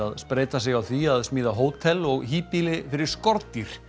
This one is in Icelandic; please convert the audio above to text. spreyta sig á því að smíða hótel og fyrir skordýr